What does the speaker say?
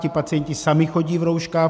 Ti pacienti sami chodí v rouškách.